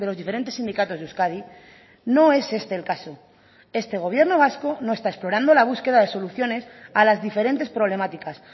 diferentes sindicatos de euskadi no es este el caso este gobierno vasco no está explorando la búsqueda de soluciones a las diferentes problemáticas